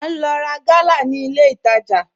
À n lò rá gàlà ní ilẹ̀ ìtajà